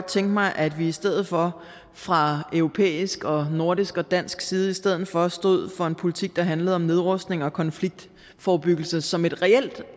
tænke mig at vi i stedet for fra europæisk og nordisk og dansk side stod for stod for en politik der handlede om nedrustning og konfliktforebyggelse som et reelt